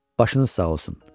Başınız sağ olsun.